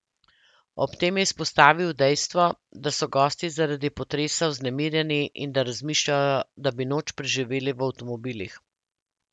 Ob tem je izpostavil dejstvo, da so gosti zaradi potresa vznemirjeni in da razmišljajo, da bi noč preživeli v avtomobilih.